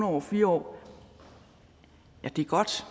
over fire år er godt